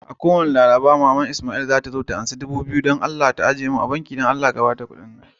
Kowani ran laraba, maman lsmaili zata zo ta karba dubu biyu ta ajie mun a banki. Dan Allah, ka Bata kudin.